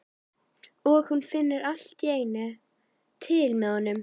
Og hún finnur allt í einu til með honum.